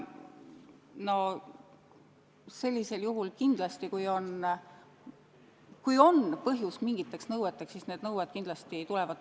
No sellisel juhul, kui on põhjust mingiteks nõueteks, need nõuded kindlasti ka tulevad.